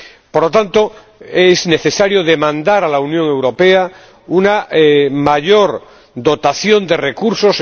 Por lo tanto, es necesario demandar a la Unión Europea una mayor dotación de recursos.